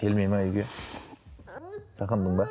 келмейді ме үйге сағындың ба